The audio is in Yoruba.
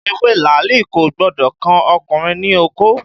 Ewé làálì kò gbọ́dọ̀ kan ọkùnrin ní okó